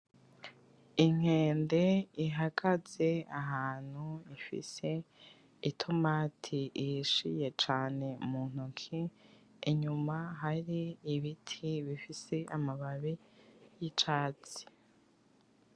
Inkende ihagaze ahantu ifise itomati ihishiye cane muntoki inyuma hari ibiti bifise amababi yicatsi